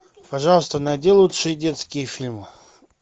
пожалуйста найди лучшие детские фильмы